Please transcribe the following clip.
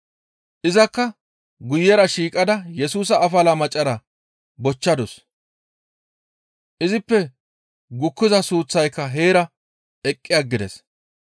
Izakka guyera shiiqada Yesusa afala macarata bochchadus; izippe gukkiza suuththay heerakka eqqi aggides.